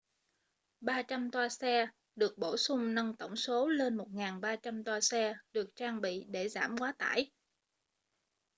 300 toa xe được bổ sung nâng tổng số lên 1300 toa xe được trang bị để giảm quá tải